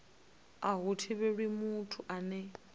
a hu thivheli muthu ane